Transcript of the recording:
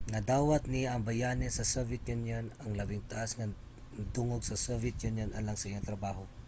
nadawat niya ang bayani sa soviet union ang labing taas nga dungog sa soviet union alang sa iyang trabaho